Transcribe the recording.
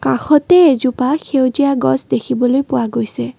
কাষতে এজোপা সেউজীয়া গছ দেখিবলৈ পোৱা গৈছে।